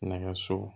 Nɛgɛso